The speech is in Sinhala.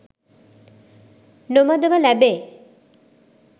නොමදව ලැබේ.